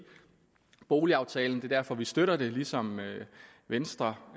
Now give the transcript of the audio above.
boligaftalen det er derfor vi støtter det ligesom venstre